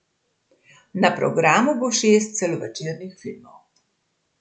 Na programu bo šest celovečernih filmov.